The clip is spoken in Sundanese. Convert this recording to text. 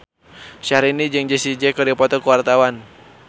Syahrini jeung Jessie J keur dipoto ku wartawan